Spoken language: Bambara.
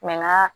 nka